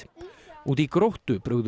úti í Gróttu brugðu